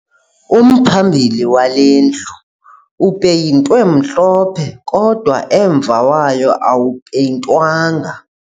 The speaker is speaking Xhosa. Umphambili wale ndlu upeyintwe mhlophe kodwa umva wayo awupeyintwanga